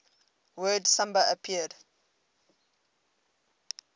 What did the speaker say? word samba appeared